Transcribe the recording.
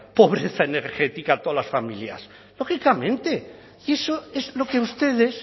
pobreza energética a todas las familias lógicamente y eso es lo que ustedes